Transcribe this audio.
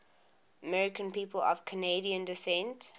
american people of canadian descent